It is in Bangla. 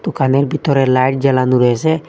দুকানের ভিতরে লাইট জ্বালানো রয়েছে।